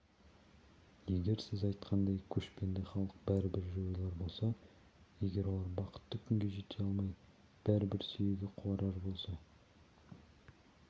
егер сіз айтқандай көшпенді халық бәрібір жойылар болса егер олар бақытты күнге жете алмай бәрібір сүйегі қуарар болса